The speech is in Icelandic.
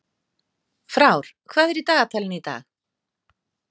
Frár, hvað er í dagatalinu í dag?